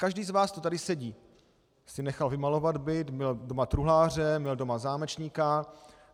Každý z vás, kdo tady sedí, si nechal vymalovat byt, měl doma truhláře, měl doma zámečníka.